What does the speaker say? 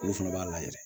Olu fana b'a la yɛrɛ